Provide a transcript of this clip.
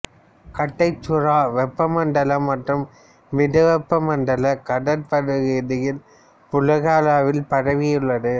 கட்டைச்சுறா வெப்பமண்டல மற்றும் மிதவெப்ப மண்டல கடற் பகுதியில் உலகளாவில் பரவியுள்ளது